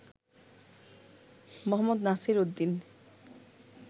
মো. নাসির উদ্দিন